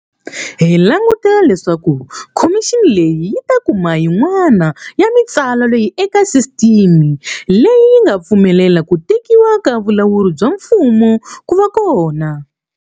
Hi langutela leswaku khomixini leyi yi ta kuma yin'wana ya mitsano leyi eka sisiteme leyi yi nga pfumelela ku tekiwa ka vulawuri bya mfumo ku va kona.